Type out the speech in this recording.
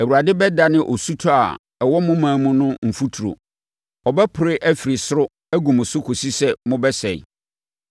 Awurade bɛdane osutɔ a ɛwɔ mo ɔman mu no mfuturo; ɛbɛpore afiri soro agu mo so kɔsi sɛ mobɛsɛe.